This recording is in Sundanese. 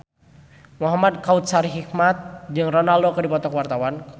Muhamad Kautsar Hikmat jeung Ronaldo keur dipoto ku wartawan